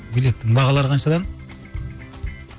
билеттің бағалары қаншадан